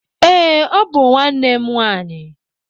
Ee, ọ bụ nwanne m nwanyị.